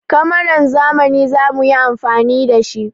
Kamaran zamani za mu yi amfani da shi.